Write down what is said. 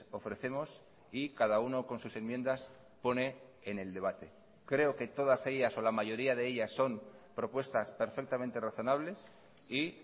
ofrecemos y cada uno con sus enmiendas pone en el debate creo que todas ellas o la mayoría de ellas son propuestas perfectamente razonables y